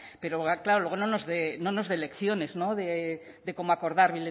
pero claro luego no nos dé lecciones de cómo acordar